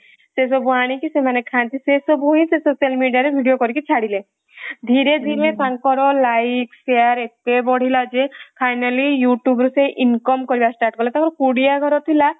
ସେ ସବୁ ଆଣିକି ସେମାନେ ଖାଆନ୍ତି ସେ ସବୁ ହିନ ସେ social media ରେ video କରିକି ଛାଡିଲେ ଧୀରେ ଧୀରେ ତାଙ୍କର life share ଏତେ ବଢିଲା ଯେ finally ସେ youtube ରୁ income କରିବା start କଲେ ତାଙ୍କର କୁଡିଆ ଘର ଥିଲା